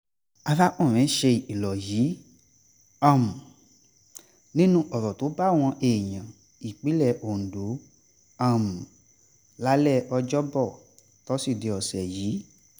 arákùnrin ṣe ìkìlọ̀ yìí um nínú ọ̀rọ̀ tó báwọn èèyàn ìpínlẹ̀ ondo um lálẹ́ ọjọ́bọ́ tosidee ọ̀sẹ̀ yìí